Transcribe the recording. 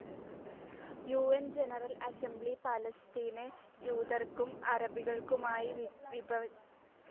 U N General Assembly പാലസ്തീനെ ജൂതർക്കും അറബികൾക്കുമായി വിഭജിക്കുവാനുള്ള തീരുമാനം അംഗീകരിച്ചു.